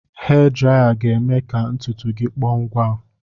Hee draya ga-eme ka ntutu gị kpọọ ngwa